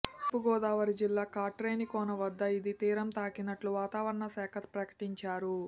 తూర్పుగోదావరి జిల్లా కాట్రేనికోన వద్ద ఇది తీరం తాకినట్లు వాతావరణశాఖ ప్రకటించారు